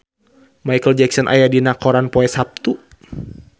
Micheal Jackson aya dina koran poe Saptu